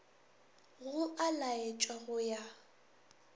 go a laetšwa go ya